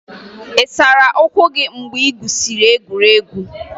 Ị sara ụkwụ gị mgbe ị gwusiri egwuregwu?